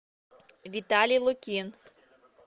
виталий лукин